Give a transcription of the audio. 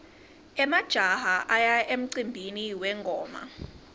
emajaha aya emcimbini wengoma